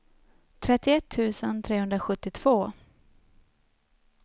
trettioett tusen trehundrasjuttiotvå